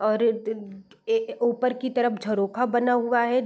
और ये उपर की तरफ झरोखा बना हुआ है |